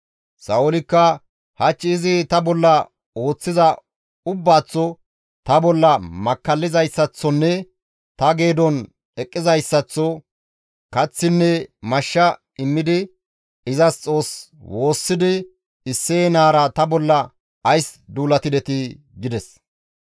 Sa7oolikka, «Hach izi ta bolla ooththiza ubbaaththo, ta bolla makkallizayssaththonne ta geedon eqqizayssaththo kaththinne mashsha immidi izas Xoos woossidi Isseye naara ta bolla ays duulatidetii?» gides.